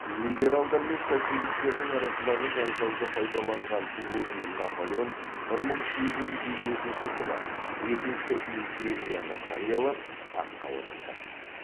либералдар мен социалистердің арасындағы жанжалды пайдаланған луи наполеон бір мың сегіз жүз елу екінші жылы екінші империяны жариялап таққа отырды